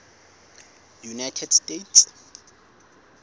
united states